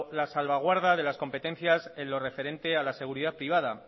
la salvaguarda de las competencias en lo referente a la seguridad privada